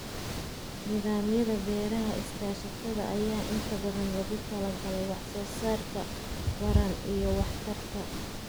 Nidaamyada beeraha iskaashatada ayaa inta badan loogu talagalay wax soo saarka ballaaran iyo waxtarka.